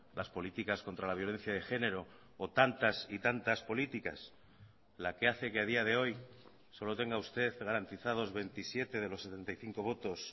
las políticas contra la violencia de género o tantas y tantas políticas la que hace que a día de hoy solo tenga usted garantizados veintisiete de los setenta y cinco votos